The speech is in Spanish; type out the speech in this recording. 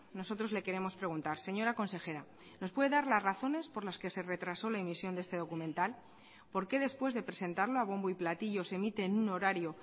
nosotros le queremos preguntar señora consejera nos puede dar las razones por las que se retrasó la emisión de este documental por qué después de presentarlo a bombo y platillo se emite en un horario